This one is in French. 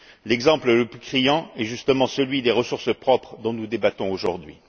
L'exemple le plus criant est justement celui des ressources propres, dont nous débattons aujourd'hui.